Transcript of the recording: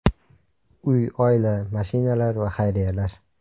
Uy, oila, mashinalar va xayriyalar.